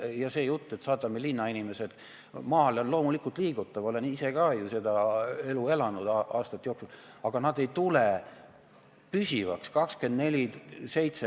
Ja see jutt, et saadame linnainimesed maale, on loomulikult liigutav – olen ju ka ise aastate jooksul seda elu elanud –, aga nad ei jää sinna püsivalt 24/7.